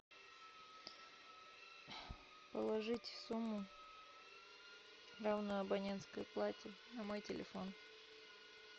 положить сумму равную абонентской плате на мой телефон